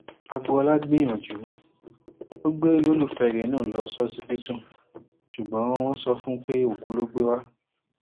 agboola gbìyànjú ó gbé olólùfẹ rẹ náà lọ sí ọsibítù ṣùgbọn wọn sọ fún un pé òkú ló gbé wa